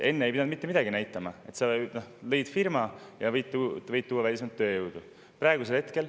Enne ei pidanud mitte midagi näitama: võis luua firma ja tuua välismaalt tööjõudu.